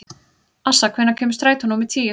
Assa, hvenær kemur strætó númer tíu?